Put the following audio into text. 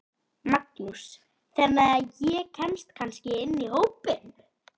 Magnús: Þannig að ég kemst kannski inn í hópinn?